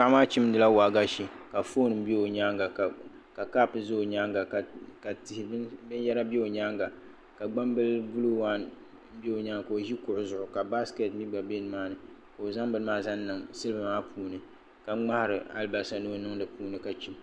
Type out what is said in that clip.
Paɣa maa chimdili waagashe ka foon bɛ o nyaanga ka kaap bɛ o nyaanga ka ka tihi binyɛra bɛ i nyaanga ka gbambili buluu waan bɛ o nyaanga ka o ʒi kuɣu zuɣu ka baskɛt mii gba bɛ nimaa ni ka o zaŋ bini maa zaŋ niŋ silba maa puuni ka ŋmaari alibarisa ni o niŋ di puuni ka chim